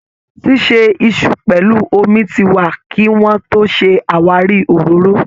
Ṣíṣe iṣu pẹlú omi ti wà kí wọ́n tó ṣe àwáríi òróró